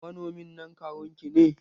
Manomin nan kawun ki ne?